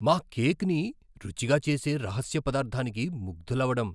మా కేక్ని రుచిగా చేసే రహస్య పదార్థానికి ముగ్ధులవడం